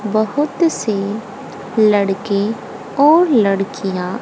बहोत से लड़के और लड़कियां--